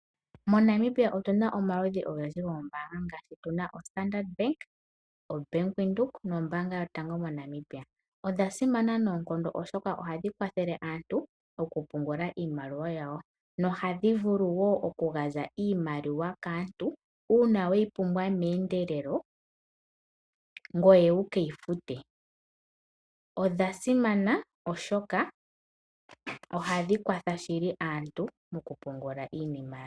MoNamibia otuna omaludhi ogendji goombanga ngaashi obank Windhoek, Standard bank nombaanga yotango yopashigwana. Odha simana noonkondo oshoka ohadhi kwathele aantu okupungula iimaliwa yawo, nohadhi vulu wo oku gandja iimaliwa kaantu uuna weyi pumbwa meendelelo ngoye wu keyi fute. Odha simana oshoka ohadhi kwatha aantu okupungula iimaliwa yawo.